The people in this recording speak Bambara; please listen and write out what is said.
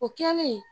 O kɛlen